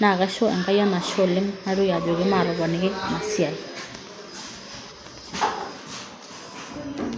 naisho enkai enashe oleng' naitoki ajoki maatoponoki esia.